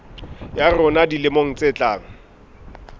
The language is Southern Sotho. ya rona dilemong tse tlang